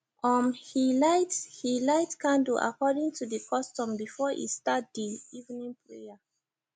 um he lite he lite candle according to the custom before e start the evening prayer